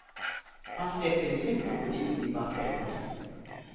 Han släpper i en krokodil i bassängen.